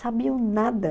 Sabiam nada.